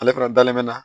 Ale fana dalen bɛ na